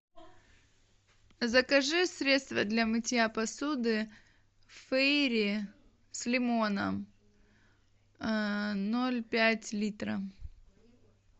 закажи средство для мытья посуды фейри с лимоном ноль пять литра